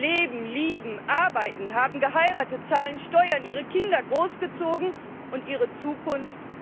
Sie leben, lieben, arbeiten, haben geheiratet, zahlen Steuern, haben ihre Kinder großgezogen und ihre Zukunft?